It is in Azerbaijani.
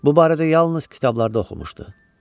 Bu barədə yalnız kitablarda oxumuşdu.